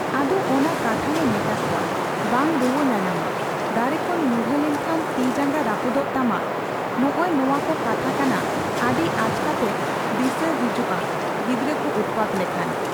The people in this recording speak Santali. ᱟᱫᱚ ᱚᱱᱟ ᱠᱟᱛᱷᱟ ᱞᱮ ᱢᱮᱛᱟ ᱠᱚᱣᱟ ᱵᱟᱝ ᱨᱩᱣᱟᱹ ᱧᱟᱧᱟᱢᱟ, ᱫᱟᱨᱮ ᱠᱷᱚᱱ ᱧᱩᱨᱦᱟᱹ ᱞᱮᱱᱠᱷᱟᱱ ᱛᱤ ᱡᱟᱝᱜᱟ ᱨᱟᱹᱯᱩᱫᱚᱜ ᱛᱟᱢᱟ ᱱᱚᱜ ᱼᱚ ᱱᱚᱣᱟ ᱠᱚ ᱠᱟᱛᱷᱟ ᱠᱟᱱᱟ ᱟᱹᱰᱤ ᱟᱪᱠᱟᱛᱮ ᱫᱤᱥᱟᱹ ᱦᱤᱡᱩᱜᱼᱟ ᱜᱤᱫᱽᱨᱟᱹ ᱠᱚ ᱩᱛᱯᱟᱛ ᱞᱮᱠᱷᱟᱱ ᱾